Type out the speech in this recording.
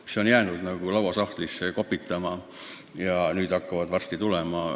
Need on jäänud lauasahtlisse kopitama ja nüüd hakkavad varsti tulema.